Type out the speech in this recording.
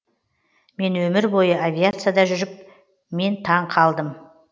мен өмір бойы авиацияда жүріп мен таң қалдым